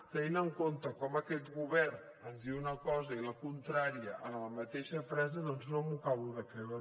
tenint en compte com aquest govern ens diu una cosa i la contrària en la mateixa frase doncs no m’ho acabo de creure